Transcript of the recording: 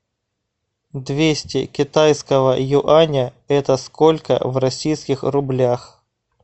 двести китайского юаня это сколько в российских рублях